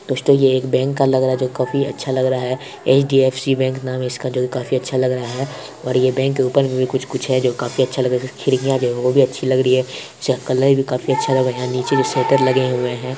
दोस्तो ये एक बैंक का लग रहा है जो काफी अच्छा लग रहा है। एच_डी_एफ_सी बैंक नाम है इसका जो की काफी अच्छा लग रहा है और ये बैंक के ऊपर में भी कुछ-कुछ है जो काफी अच्छा लग रहा है खिड़कियां जो हैं वो भी अच्छी लग रही है इसका कलर भी काफी अच्छा लग रहा है यहां नीचे में शटर लगे हुए हैं।